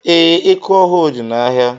Ee, eku ọhụụ dị n'ahịa.